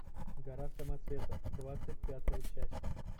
гора самоцветов двадцать пятая часть